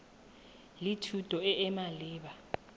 le thuto e e maleba